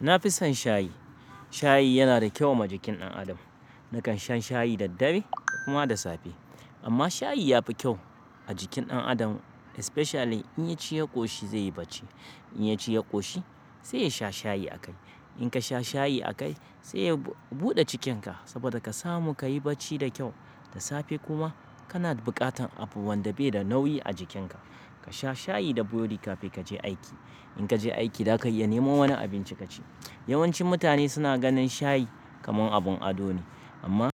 Na fi son shayi. Shayi yana da kyau ma jikin ɗan adam. Nakan sha shayi da dare da kuma da safe. Amma shayi ya fi kyau a jikin ɗan adam especially in ya ci ya ƙoshi zai yi bacci. In ya ci ya ƙoshi se ya sha shayi a kai. In ka sha shayi a kai sai ya buɗe cikinka saboda ka samu kayi bacci da kyau. Da safe kuma kana buƙatan abu wanda bai da nauyi a jikinka. Ka sha shayi da burodi kafin kaje aiki. In kaje aiki daka iya neman wani abinci ka ci. Yawancin mutane suna ganin shayi kamar abin ado ne amma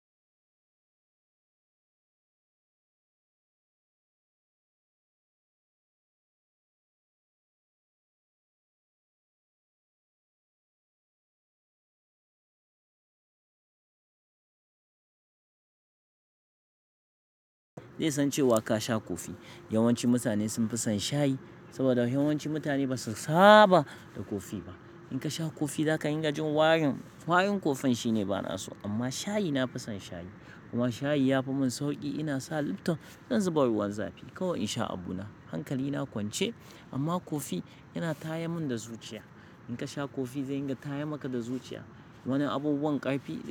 zai san cewa ka sha kofi. Yawanci mutane sun fi son shayi saboda yawancin mutane ba su saba da kofi ba. In ka sha kofi za ka yi ga jin warin, warin kofan shine bana so. Amma shayi na fi son shayi. Kuma shayi ya fi mun sauƙi. Ina sa liptom zan zuba ruwan zafi. Kawai in sha abu na. Hankali na kwance amma kofi yana tayar mun da zuciya. In ka sha kofi zai ringa taya maka da zuciya. Wani abubuwan ƙarfi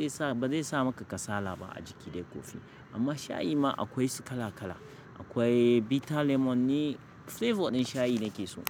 ba zai sa maka kasala ba a jiki dai kofi. Amma shayi ma akwai su kala kala. Akwai bitter lemon ni flavor ɗin shayi nake so.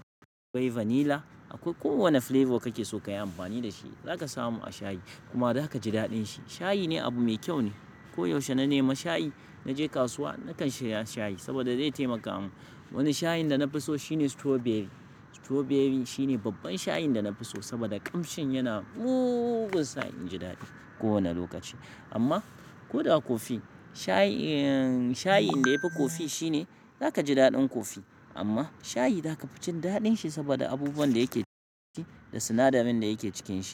Akwai vanilla, akwai kowane flavor kake so kayi amfani da shi za ka samu a shayi. Kuma za ka ji daɗin shi. Shayi ne abu mai kyau ne. Ko yaushe na nemi shayi. Naje kasuwa nakan siya shayi saboda zai taimaka mun. Wani shayin da na fi so shine strawberry. Strawberry shine babban shayin da na fi so saboda ƙamshin yana mugun sa in ji daɗi kowane lokaci. Amma ko da kofi, shayin, shayin da yafi kofi shine za ka ji daɗin kofi amma shayi za ka fi jin daɗin shi saboda abubuwan da yake ciki da sinadarin da yake cikin shi.